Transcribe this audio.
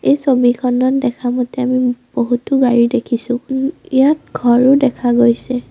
এই ছবিখনত দেখা মতে আমি বহুতো গাড়ী দেখিছোঁ ওম ইয়াত ঘৰো দেখা গৈছে।